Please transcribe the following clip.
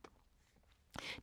DR1